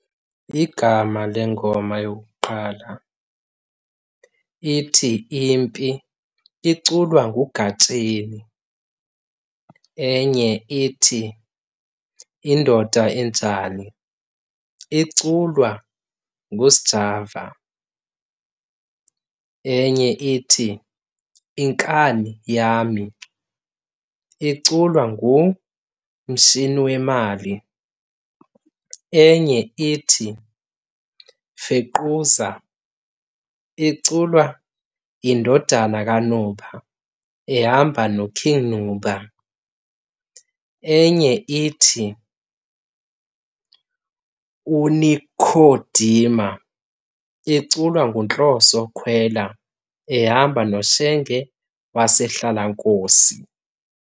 Igama lengoma yokuqala ithi, Impi, iculwa nguGatsheni. Enye ithi, Indoda Enjani, iculwa nguSjava. Enye ithi, Inkani Yami, iculwa nguMshiniwemali. Enye ithi, Fequza, iculwa yiNdodanakanuba ehamba noKing Nuba. Enye ithi, uNikhodima, iculwa nguNhloso Khwela ehamba noShenge wasehlalankosi.